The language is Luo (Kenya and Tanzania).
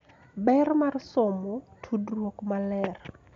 Ber mar somo, tudruok maler,